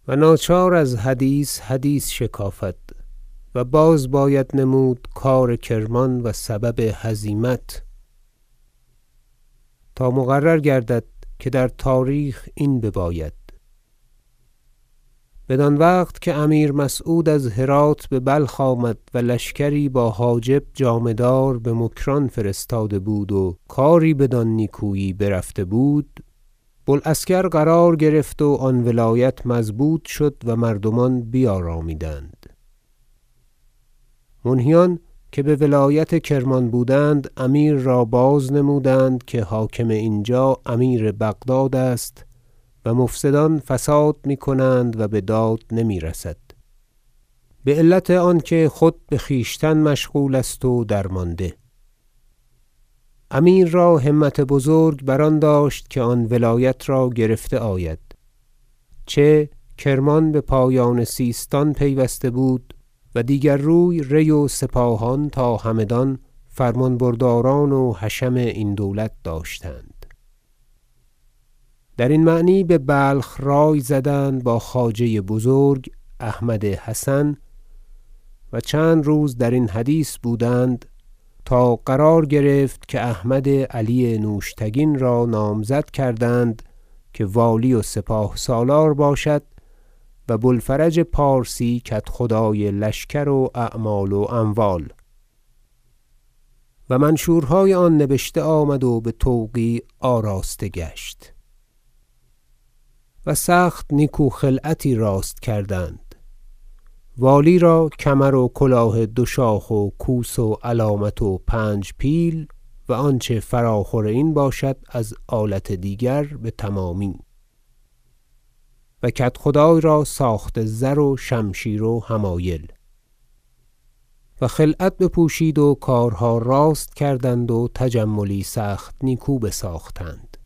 ذکر احوال کرمان و هزیمت آن لشکر که آنجا مرتب بود و ناچار از حدیث حدیث شکافد و باز باید نمود کار کرمان و سبب هزیمت تا مقرر گردد که در تاریخ این بباید بدان وقت که امیر مسعود از هرات ببلخ آمد و لشکری با حاجب جامه دار بمکران فرستاده بود و کاری بدان نیکویی برفته بود و بو العسکر قرار گرفت و آن ولایت مضبوط شد و مردمان بیارامیدند منهیان که بولایت کرمان بودند امیر را بازنمودند که حاکم اینجا امیر بغداد است و مفسدان فساد می کنند و بداد نمیرسد بعلت آنکه خود بخویشتن مشغول است و درمانده امیر را همت بزرگ بر آن داشت که آن ولایت را گرفته آید چه کرمان بپایان سیستان پیوسته بود و دیگر روی ری و سپاهان تا همدان فرمان برداران و حشم این دولت داشتند درین معنی ببلخ رای زدند با خواجه بزرگ احمد حسن و چند روز درین حدیث بودند تا قرار گرفت که احمد علی نوشتگین را نامزد کردند که والی و سپاه- سالار باشد و بو الفرج پارسی کدخدای لشکر و اعمال و اموال و منشورهای آن نبشته آمد و بتوقیع آراسته گشت و سخت نیکو خلعتی راست کردند والی را کمر و کلاه دوشاخ و کوس و علامت و پنج پیل و آنچه فراخور این باشد از آلت دیگر بتمامی و کدخدای را ساخت زر و شمشیر حمایل و خلعت بپوشید و کارها راست کردند و تجملی سخت نیکو بساختند